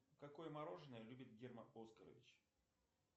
какое мороженое любит герман оскарович